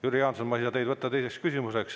Jüri Jaanson, ma ei saa teile anda teist küsimust.